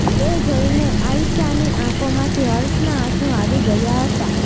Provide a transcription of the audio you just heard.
એ જોઈને આયશાની આંખોમાંથી હર્ષનાં આંસુ આવી ગયા હતા